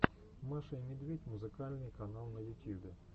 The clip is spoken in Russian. маша и медведь музыкальный канал на ютьюбе